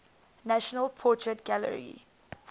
national portrait gallery